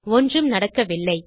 ஒன்றும் நடக்கவில்லை